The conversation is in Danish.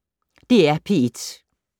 DR P1